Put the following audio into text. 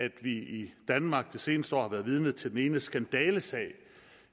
at vi i danmark det seneste år har været vidne til den ene skandalesag